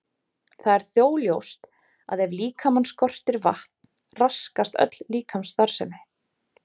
Það er þó ljóst að ef líkamann skortir vatn raskast öll líkamsstarfsemi.